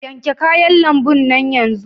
Yanke kayan lambun nan yanzu!